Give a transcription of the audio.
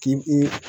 K'i